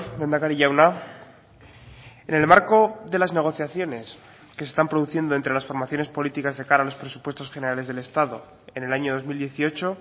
lehendakari jauna en el marco de las negociaciones que se están produciendo entre las formaciones políticas de cara a los presupuestos generales del estado en el año dos mil dieciocho